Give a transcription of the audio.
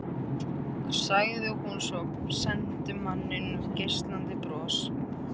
sagði hún svo og sendi manninum geislandi bros.